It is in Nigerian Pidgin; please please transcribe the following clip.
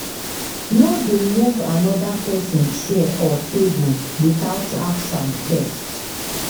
No dey move another person chair or table without ask am first.